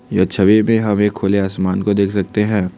यह छवि में हमें खुले आसमान को देख सकते हैं।